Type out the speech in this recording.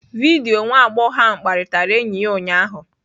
Vidio nwa agbọghọ ahụ kparịtara enyi ya ụnyaahụ.